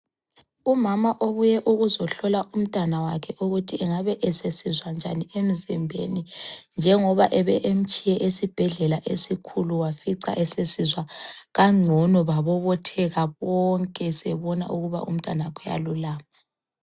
Umama ubuye ukuzohlola umntana wakhe ukuthi engabe esesizwa njani emzimbeni njengoba ebemtshiye esibhedlela esikhulu wafica esesizwa kangcono babobotheka bonke sebebona ukuba umntanakhe uyalulama.